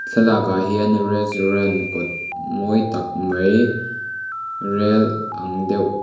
thlalak ah hian restaurant kawt mawi tak mai rel ang deuh--